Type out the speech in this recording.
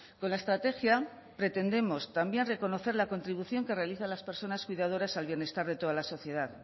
con la estrategia pretendemos también reconocer la contribución que realizan las personas cuidadoras al bienestar de toda la sociedad